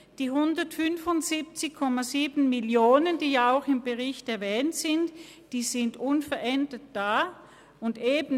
Die 175,7 Mio. Franken, die ja auch im Bericht erwähnt sind, bleiben unverändert bestehen.